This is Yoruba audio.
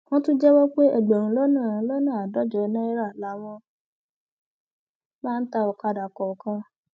wọn tún jẹwọ pé ẹgbẹrún lọnà lọnà àádọjọ náírà làwọn máa ń ta ọkadà kọọkan